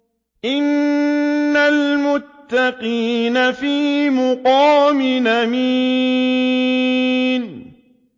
إِنَّ الْمُتَّقِينَ فِي مَقَامٍ أَمِينٍ